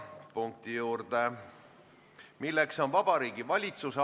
Paneme selle ettepaneku hääletusele.